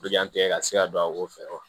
ka se ka don a ko fɛ wa